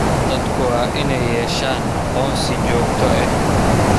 Dadku waa inay yeeshaan aqoonsi joogto ah.